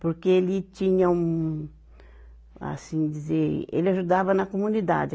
Porque ele tinha um... Assim, dizer... Ele ajudava na comunidade.